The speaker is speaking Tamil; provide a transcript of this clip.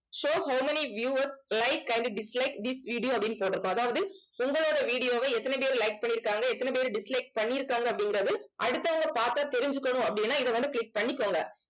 show how many viewers like and dislike this video அப்படின்னு போட்டிருக்கும் அதாவது உங்களோட video வை எத்தன பேர் like பண்ணிருக்காங்க எத்தன பேர் dislike பண்ணி இருக்காங்க அப்படிங்கிறது அடுத்தவங்க பார்த்தா தெரிஞ்சுக்கணும் அப்படின்னா இதை வந்து click பண்ணிக்கோங்க.